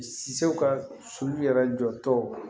Sew ka soli yɛrɛ jɔ togo